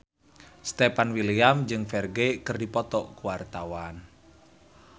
Stefan William jeung Ferdge keur dipoto ku wartawan